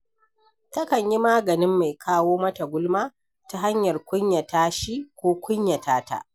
Takan yi maganin mai kawo mata gulma ta hanyar kunyata shi ko kunyata ta.